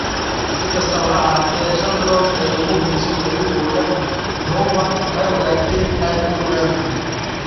si kastaba ha ahaatee, shantii bilood ee ugu horreysay xiriirkooda, Jovan waxay ogaatay inay uur leedahay.